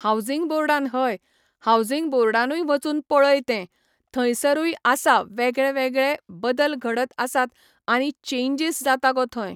housing बोर्डान हय, housing बोर्डानूय वचून पळय तें, थंयसरूय आसा वेगळे वेगळे बदल घडत आसात आनी चेंजीस जाता गो थंय